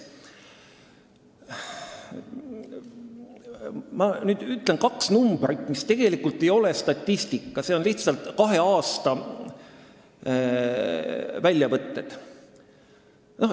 Ma nüüd ütlen kaks arvu, mis tegelikult ei ole statistika, vaid lihtsalt kahe aasta väljavõtted.